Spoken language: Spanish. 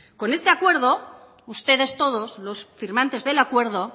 con este acuerdo ustedes todos los firmantes del acuerdo